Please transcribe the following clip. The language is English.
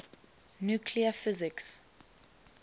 nuclear physics